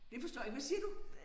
Det forstår jeg ikke hvad siger du